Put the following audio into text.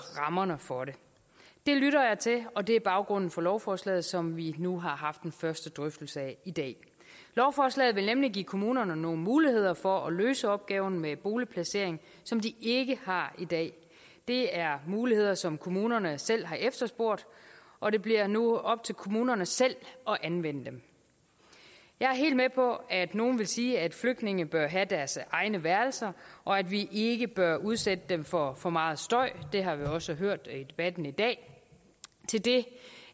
rammerne for det det lytter jeg til og det er baggrunden for lovforslaget som vi nu har haft en første drøftelse af i dag lovforslaget vil nemlig give kommunerne nogle muligheder for at løse opgaven med boligplacering som de ikke har i dag det er muligheder som kommunerne selv har efterspurgt og det bliver nu op til kommunerne selv at anvende dem jeg er helt med på at nogle vil sige at flygtninge bør have deres egne værelser og at vi ikke bør udsætte dem for for meget støj det har vi også hørt i debatten i dag til det